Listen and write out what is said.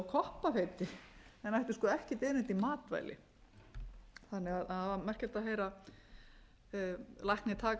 koppafeiti en ættu sko ekkert erindi í matvæli þannig að það var merkilegt að heyra lækni taka